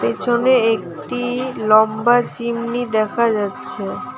পিছনে একটি লম্বা চিমনি দেখা যাচ্ছে।